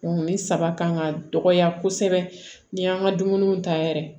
nin saba kan ka dɔgɔya kosɛbɛ ni y'an ka dumuniw ta yɛrɛ